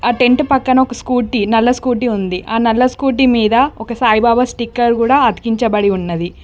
Tent పక్కన ఒక Scooty నల్ల స్కూటీ ఉంది ఆ నల్ల స్కూటీ మీద ఒక సాయిబాబా స్టిక్కర్ గూడ అతికించబడి ఉన్నది.